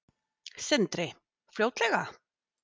Sindri: Fljótlega?